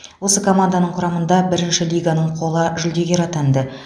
осы команданың құрамында бірінші лиганың қола жүлдегері атанды